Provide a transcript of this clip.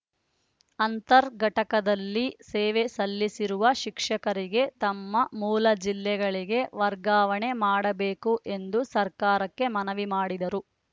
ಅಂತರ್‌ ಘಟಕದಲ್ಲಿ ಸೇವೆ ಸಲ್ಲಿಸಿರುವ ಶಿಕ್ಷಕರಿಗೆ ತಮ್ಮ ಮೂಲ ಜಿಲ್ಲೆಗಳಿಗೆ ವರ್ಗಾವಣೆ ಮಾಡಬೇಕು ಎಂದು ಸರ್ಕಾರಕ್ಕೆ ಮನವಿ ಮಾಡಿದರು